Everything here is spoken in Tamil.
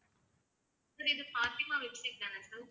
sir இது ஃபாத்திமா தானே sir